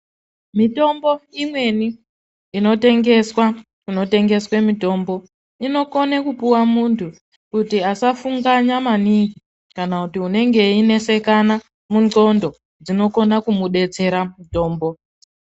Mitombo imweni inotengeswa kunotengeswa mitombo inokone kupuwa muntu kuti asafunganya maningi kana kuti unenge einesekana mundxondo. Dzinokona kumudetsera mutombo.